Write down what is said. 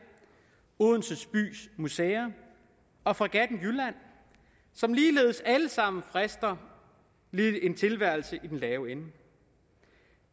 odense bys museer og fregatten jylland som ligeledes alle sammen frister en tilværelse i den lave ende